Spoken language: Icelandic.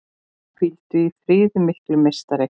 Hvíldu í friði mikli meistari!